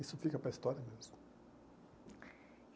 Isso fica para a história mesmo.